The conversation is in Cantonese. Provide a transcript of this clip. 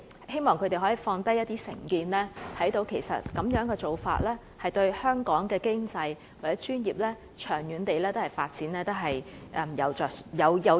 希望他們可以放下成見，看到資格互認對香港經濟或專業的長遠發展所帶來的好處。